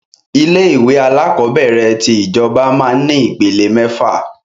Ilé ìwé alakọ̀bẹ́ẹ́rẹ̀ tí ìjọba máa ń ní ìpele mẹ́fà